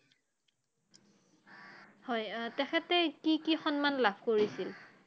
হয় অ তেখেতে কি কি সন্মান লাভ কৰিছিল